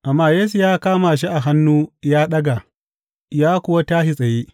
Amma Yesu ya kama shi a hannu ya ɗaga, ya kuwa tashi tsaye.